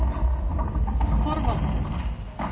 Þorvaldur